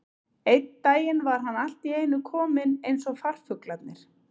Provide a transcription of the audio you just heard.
Einn daginn var hann allt í einu kominn eins og farfuglarnir.